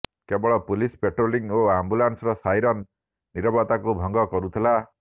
କେବଳ police patrolling ଓ ଆମ୍ବୁଲାନ୍ସର ସାଇରନ୍ ନିରବତାକୁ ଭଂଗ କରୁଥିଲା